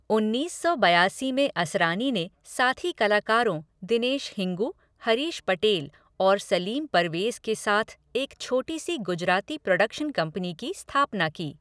उन्नीस सौ बयासी में असरानी ने साथी कलाकारों दिनेश हिंगू, हरीश पटेल और सलीम परवेज के साथ एक छोटी सी गुजराती प्रोडक्शन कंपनी की स्थापना की।